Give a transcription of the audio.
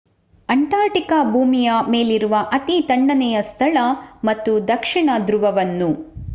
ಅಂಟಾರ್ಟಿಕಾ ಭೂಮಿಯ ಮೇಲಿರುವ ಅತೀ ತಣ್ಣನೆಯ ಸ್ಥಳ ಮತ್ತು ದಕ್ಷಿಣ ದ್ರುವವನ್ನು